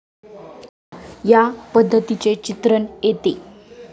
या पद्धतीचे चित्रण येते.